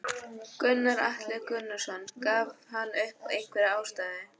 Gunnar Atli Gunnarsson: Gaf hann upp einhverja ástæðu?